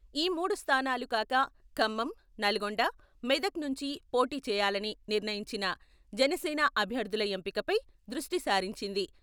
ఈ మూడు స్థానాలు కాక ఖమ్మం, నల్గొండ, మెదకన్నుంచి పోటీ చేయాలని నిర్ణయించిన జనసేన అభ్యర్థుల ఎంపికపై దృష్టిసారించింది.